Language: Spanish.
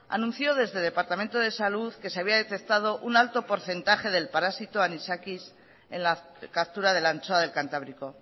anunció desde el departamento de salud que se había detectado un alto porcentaje del parásito anisakis en la captura de la anchoa del cantábrico